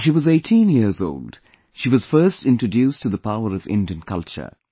When she was 18 years old, she was first introduced to the power of Indian culture